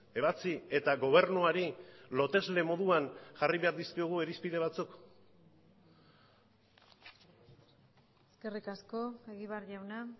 ebatzi eta gobernuari lotesle moduan jarri behar dizkiogu irizpide batzuk eskerrik asko egibar jauna